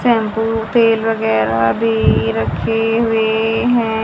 Shampoo तेल वगैरा भी रखे हुए हैं।